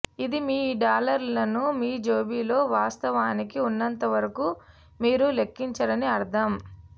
ఇది మీ డాలర్లను మీ జేబులో వాస్తవానికి ఉన్నంత వరకు మీరు లెక్కించరని అర్థం